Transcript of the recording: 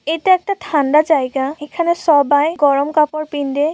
এটা একটা ঠান্ডা জায়গা। এখানে স-অবাই গরম কাপড় পিন্দে--